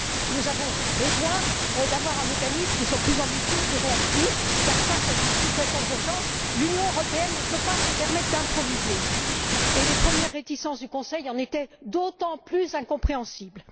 Nous avons besoin d'avoir un mécanisme qui soit plus ambitieux, plus réactif, car, face à ces situations d'urgence, l'Union européenne ne peut pas se permettre d'improviser, et les premières réticences du Conseil en étaient d'autant plus incompréhensibles.